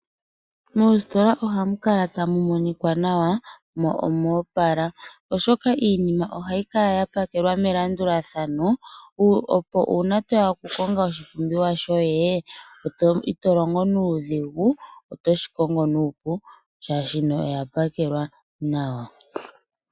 Mositola ohamu kala tamumonika nawa mo omopala ,oshoka iinima ohayi kala yapakelwa melandulathano opo una toya oku konga oshi pumbiwa shoye itilongo nudhingu otoshikongo nuupu shashi oyapakelwa nawa.